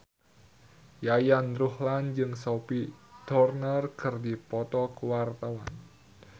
Yayan Ruhlan jeung Sophie Turner keur dipoto ku wartawan